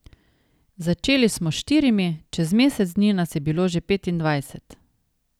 Začeli smo s štirimi, čez mesec dni nas je bilo že petindvajset.